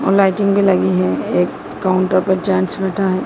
और लाइटिंग भी लगी है एक काउंटर पर जांच घटा--